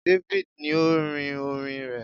David ni o rin orín rẹ